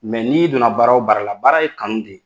n'i donna baara o baara la, baara ye kanu de ye.